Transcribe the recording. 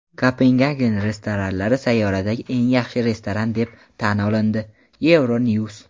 Kopengagen restoranlari sayyoradagi eng yaxshi restoran deb tan olindi — Euronews.